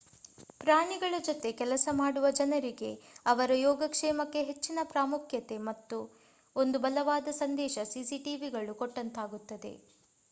ಪ್ರಾಣಿಗಳ ಜೊತೆ ಕೆಲಸ ಮಾಡುವ ಜನರಿಗೆ ಅವರ ಯೋಗಕ್ಷೇಮಕ್ಕೆ ಹೆಚ್ಚಿನ ಪ್ರಾಮುಖ್ಯತೆ ಎಂಬ ಒಂದು ಬಲವಾದ ಸಂದೇಶ cctvಗಳು ಕೊಟ್ಟಂತಾಗುತ್ತದೆ